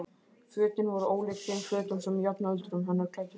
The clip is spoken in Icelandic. Fötin voru ólík þeim fötum sem jafnöldrur hennar klæddust og þótt